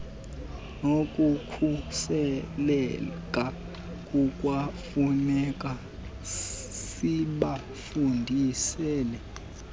nokukhuseleka kukwafuneka sibafundisile